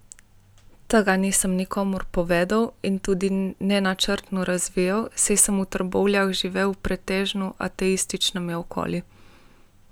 Tega nisem nikomur povedal in tudi ne načrtno razvijal, saj sem v Trbovljah živel v pretežno ateističnem okolju.